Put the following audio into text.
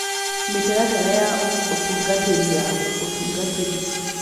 Mĩtaratara ya Ũtungatĩri ya Ũtungatĩri